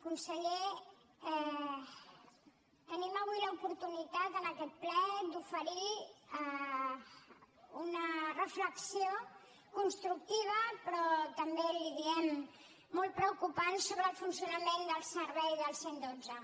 conseller tenim avui l’oportunitat en aquest ple d’oferir una reflexió constructiva però també li ho diem molt preocupant sobre el funcionament del servei del cent i dotze